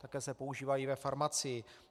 Také se používají ve farmacii.